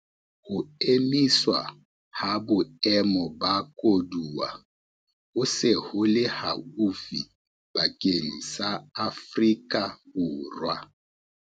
Ho emiswa ha Boemo ba Koduwa ho se ho le haufi bakeng sa Afrika Borwa